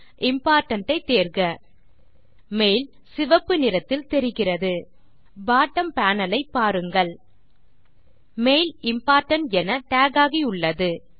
important ஐ தேர்க mail சிவப்பு நிறத்தில் தெரிகிறது பாட்டம் பேனல் ஐ பாருங்கள் மெயில் இம்போர்டன்ட் என டாக் ஆகியுள்ளது